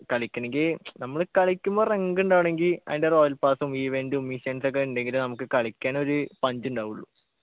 കളിക്കണെങ്കി നമ്മള് കളിക്കുമ്പോ റങ്ക്ണ്ടാവണെങ്കി അതിൻ്റെ royal pass ഉം events ഉം missions ഒക്കെ ഉണ്ടെങ്കിലേ നമുക്ക് കളിക്കാനൊരു punch ഉണ്ടാവുള്ളു